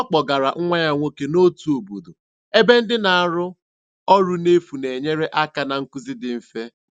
Ọ kpọgara nwa ya nwoke n'otu obodo ebe ndị na-arụ ọrụ n'efu na-enyere aka na nkuzi dị mfe.